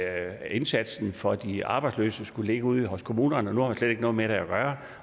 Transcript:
at indsatsen for de arbejdsløse skulle ligge ude hos kommunerne nu har man slet ikke noget med det at gøre